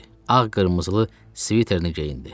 Ağ-qırmızılı sviterini geyindi.